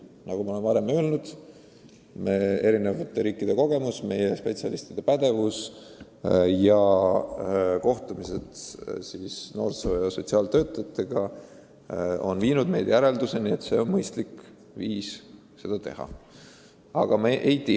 Nagu ma olen öelnud, eri riikide kogemuste uurimine ja meie pädevate spetsialistide seisukohad – oleme kohtunud noorsoo- ja sotsiaaltöötajatega – on viinud meid järelduseni, et see on mõistlik viis seda probleemi lahendada.